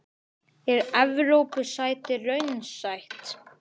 Er Evrópusæti raunsætt?